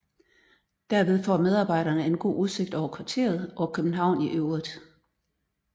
Derved får medarbejderne en god udsigt over kvarteret og København i øvrigt